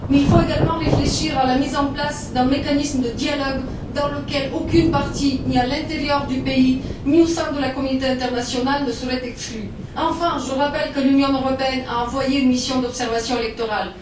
Mais il faut également réfléchir à la mise en place d'un mécanisme de dialogue dans lequel aucune partie, ni à l'intérieur du pays, ni au sein de la communauté internationale, ne serait exclue. Enfin, je rappelle que l'Union européenne a envoyé une mission d'observation électorale.